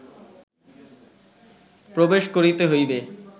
প্রবেশ করিতে হইবে